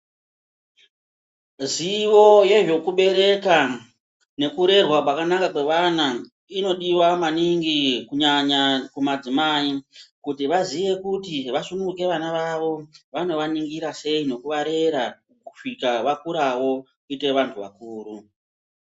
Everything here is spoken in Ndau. Zivo yezvwkubereka pakanaka kwevantu inodiwa maningi kunyanya kumadzimai kuti vazive vasungura vana vavo vanovaningira sei nekuvabrerawo Kyita vantu vakuru.